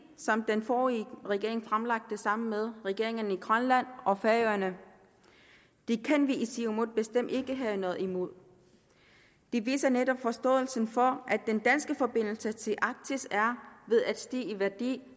som den forrige regering fremlagde sammen med regeringerne i grønland og færøerne det kan vi i siumut bestemt ikke have noget imod det viser netop forståelsen for at den danske forbindelse til arktis er ved at stige i værdi